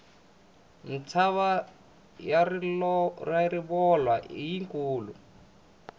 mtshava ya rivolwa i yi kulu